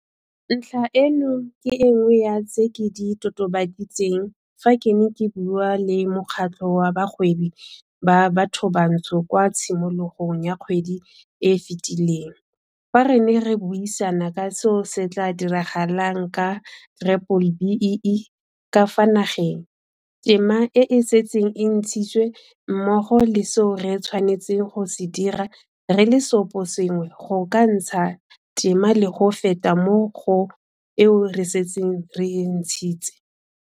Ntlha eno ke e nngwe ya tse ke di totobaditseng fa ke ne ke bua le Mokgatlho wa Bagwebi ba Bathobantsho kwa tshimologong ya kgwedi e e fetileng, fa re ne re buisana ka seo se tla diragalang ka B-BBEE ka fa nageng, tema e e setseng e ntshitswe mmogo le seo re tshwanetseng go se dira re le seoposengwe go ka ntsha tema le go feta mo go eo re setseng re e ntshitse.